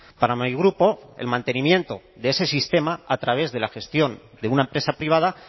para mi grupo el mantenimiento de ese sistema a través de la gestión de una empresa privada